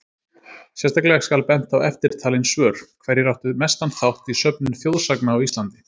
Sérstaklega skal bent á eftirtalin svör: Hverjir áttu mestan þátt í söfnun þjóðsagna á Íslandi?